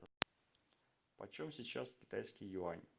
почем сейчас китайский юань